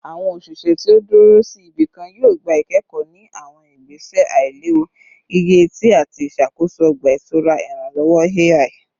Awọn oṣiṣẹ ti o duro si ibikan yoo gba ikẹkọ ni awọn igbese ailewu gige-eti ati iṣakoso ọgba-itura iranlọwọ AI